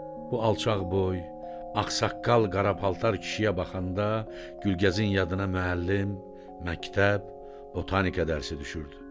Bu alçaqboy, ağsaqqal qara paltar kişiyə baxanda Gülgəzin yadına müəllim, məktəb, botanika dərsi düşürdü.